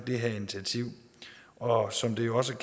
det her initiativ og som det også